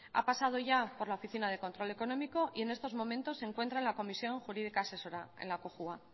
ha pasado ya por la oficina del control económico y en estos momentos se encuentra en la comisión jurídica asesora en la cojua